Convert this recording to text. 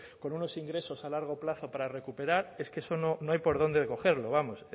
con unos ingresos a largo plazo para recuperar es que eso no hay por dónde cogerlo vamos